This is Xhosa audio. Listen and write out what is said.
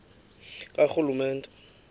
karhulumente